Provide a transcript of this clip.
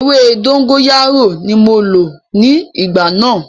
Ewé dógóyárò ní mo lò ní ìgbà náà.